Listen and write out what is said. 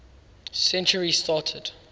century started